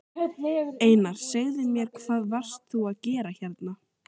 Einar, segðu mér hvað varst þú að gera hérna?